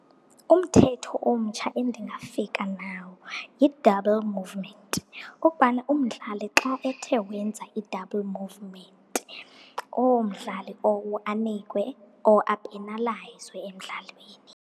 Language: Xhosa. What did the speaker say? Umthetho omtsha endingafika nawo yi-double movement. Ukubana umdlali xa ethe wenza i-double movement, lowo mdlali lowo anikwe or apenalayizwe emdlalweni.